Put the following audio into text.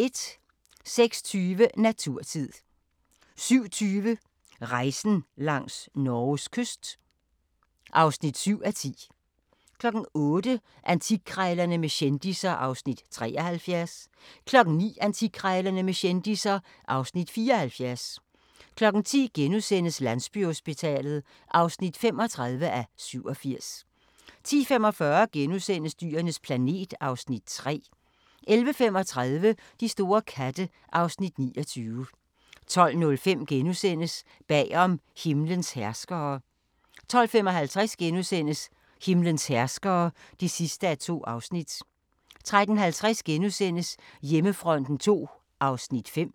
06:20: Naturtid 07:20: Rejsen langs Norges kyst (7:10) 08:00: Antikkrejlerne med kendisser (Afs. 73) 09:00: Antikkrejlerne med kendisser (Afs. 74) 10:00: Landsbyhospitalet (35:87)* 10:45: Dyrenes planet (Afs. 3)* 11:35: De store katte (Afs. 29) 12:05: Bagom himlens herskere * 12:55: Himlens herskere (2:2)* 13:50: Hjemmefronten II (5:6)*